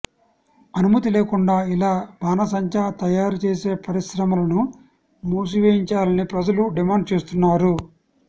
అనుమతి లేకుండా ఇలా బాణాసంచా తయారు చేసే పరిశ్రమలను మూసేయించాలని ప్రజలు డిమాండ్ చేస్తున్నారు